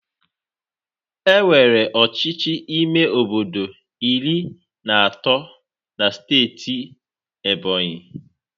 Enwere ọchịchị ime obodo iri na atọ na Steeti Ebonyị.